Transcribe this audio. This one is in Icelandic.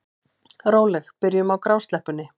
Róleg byrjun á grásleppunni